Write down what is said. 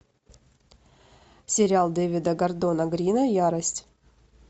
сериал дэвида гордона грина ярость